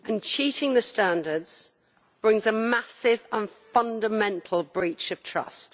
Cheating the standards brings a massive and fundamental breach of trust.